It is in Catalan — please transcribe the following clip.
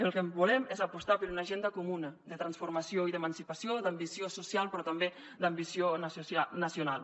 el que volem és apostar per una agenda comuna de transformació i d’emancipació d’ambició social però també d’ambició nacional